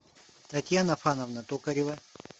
татьяна фановна токарева